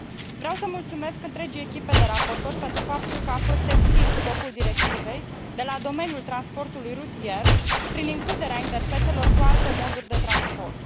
Vreau să mulțumesc întregii echipe de raportori pentru faptul că a fost extins scopul directivei de la domeniul transportului rutier, prin includerea interfețelor cu alte moduri de transport.